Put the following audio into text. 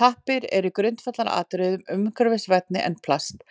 Pappír er í grundvallaratriðum umhverfisvænni en plast